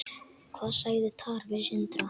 Hvað sagði Tara við Sindra?